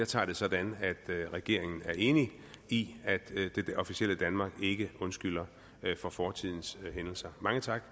tager det sådan at regeringen er enig i at det officielle danmark ikke undskylder for fortidens hændelser mange tak